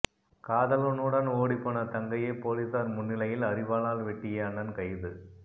காதலனுடன் ஓடிப்போன தங்கையை போலீசார் முன்னிலையில் அரிவாளால் வெட்டிய அண்ணன் கைது